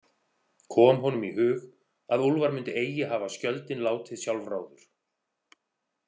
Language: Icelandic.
Kom honum í hug að Úlfar myndi eigi hafa skjöldinn látið sjálfráður.